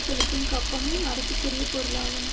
செலுத்தும் கப்பமும் அரசுக்குரிய பொருளாகும்